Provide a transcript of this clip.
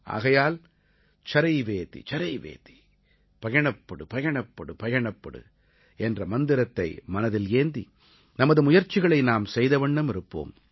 ஆகையால் சரைவேதி சரைவேதி பயணப்படு பயணப்படு பயணப்படு என்ற மந்திரத்தை மனதில் ஏந்தி நமது முயற்சிகளை நாம் செய்தவண்ணம் இருப்போம்